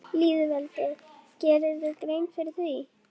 Hödd Vilhjálmsdóttir: Hvað þýðir þetta fyrir Ísland?